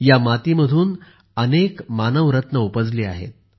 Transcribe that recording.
या मातीमधून अनेक मानव रत्ने उपजली आहेत